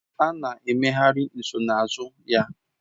A na-emegharị nsonaazụ ya